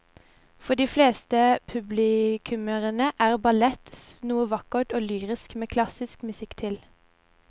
For de fleste publikummere er ballett noe vakkert og lyrisk med klassisk musikk til.